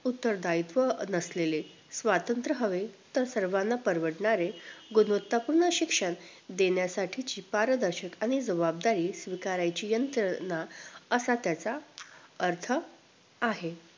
उत्तरदायित्व नसलेले स्वतंत्र हवे तर सर्वाना परवडणारे गुणवत्ता पूर्ण शिक्षण देण्यासाठी शिफारस दर्शक आणि जवाबदारी स्वीकारायची यंत्रणा असा त्याचा अर्थ आहे